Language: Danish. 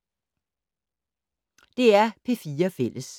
DR P4 Fælles